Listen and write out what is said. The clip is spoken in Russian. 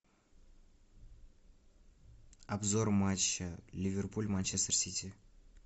обзор матча ливерпуль манчестер сити